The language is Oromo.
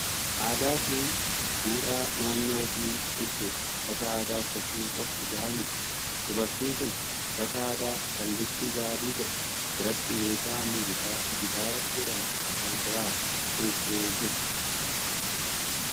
Aadaa fi duudhaa naannoo ofii ibsuuf uffata aadaa uffachuun qofti gahaa miti. Dubartiin kun uffata aadaa kan bifti isaa adii ta'e biratti meeshaa muuziqaa gitaara jedhamu of bira keessee jirti.